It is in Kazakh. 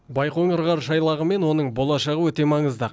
байқоңыр ғарыш айлағы мен оның болашағы өте маңызды